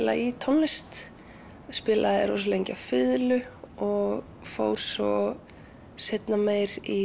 í tónlist spila lengi á fiðlu og fór svo seinna meir í